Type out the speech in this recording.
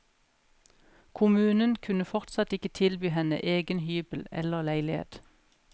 Kommunen kunne fortsatt ikke tilby henne egen hybel eller leilighet.